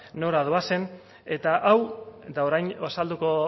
nora doazen eta hau eta orain azalduko